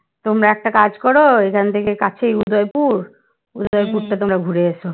তোমরা একটা কাজ কর এখান থেকে কাঁথি উদয়পুর টা তোমরা ঘুরে এসো